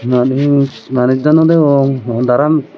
manis manis dow no degong daram ikko.